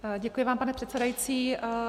Děkuji vám, pane předsedající.